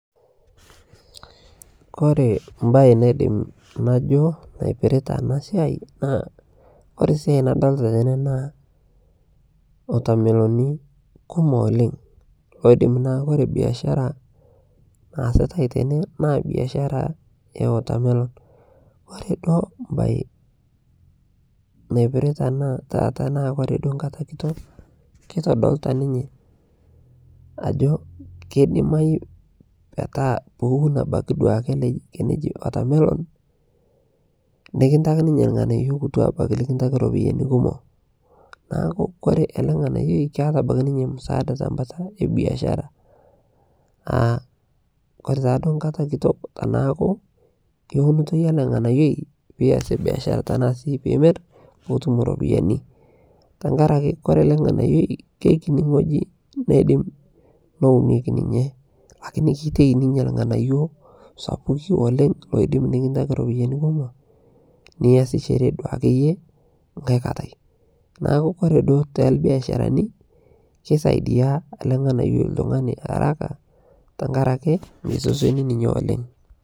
Kore embae naadim naijoo naipirita ana siai naa kore siai nadolita tenee naa watermelonii kumook oleng. Odiim naa kore biashara naasitai tene naa biashara ya watermelon.. Kore doo bayi naipirita ana taa kore doo nkaata kitook keitodolita ninye ajo kedimai peetaa euun abaki duake eneji watermelon. Nikintaki ninye elng'anaiyo kutua abaki likintaki ropiani kumook. Naaku kore ele ng'anayoi keeta abaki ninye msaada te mbaata e biashara aa kore taa doo nkaata kitook anaku kewunutoi ena lng'anayoi pii eias biashara tana si pii imirr poutum ropiani. Tang'araki kore lng'anayoi kekinyii ng'oji neidim neunoki ninye, akini keitei ninye lng'anayio sapuki oleng odiim nikintaaki ropiani kumook nieshishore duake eyee nkai nkaatai. Naaku kore doo te biasharani kesaidia ele ng'anayo ltung'ani araka teng'araki meisosoni ninye oleng.